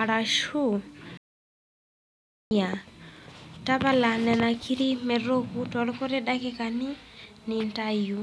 arashu dhania ,tapala nenia kirri petooku too lkuti dakikani niintayu.